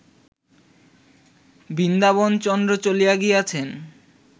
বৃন্দাবনচন্দ্র চলিয়া গিয়াছেন